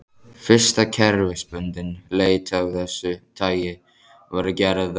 Fyrsta kerfisbundin leit af þessu tagi var gerð á